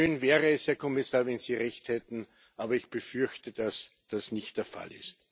Schön wäre es, Herr Kommissar, wenn Sie Recht hätten, aber ich befürchte, dass das nicht der Fall ist.